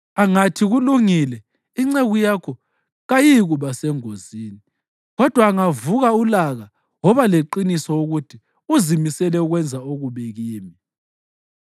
Angathi, ‘Kulungile,’ inceku yakho kayiyikuba sengozini. Kodwa angavuka ulaka woba leqiniso ukuthi uzimisele ukwenza okubi kimi.